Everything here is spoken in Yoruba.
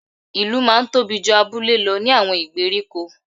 Ìlú máa n tóbi ju abúlé lo ní àwon ìgbèríko